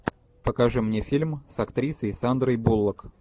покажи мне фильм с актрисой сандрой буллок